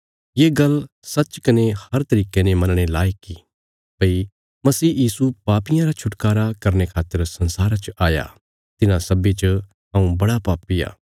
ये गल्ल सच्च कने हर तरिके ने मनणे लायक इ भई मसीह यीशु पापियां रा छुटकारा करने खातर संसारा च आया तिन्हां सब्बीं च हऊँ बड़ा पापी आ